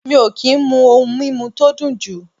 Mi o ki n mu oun mimu to dun ju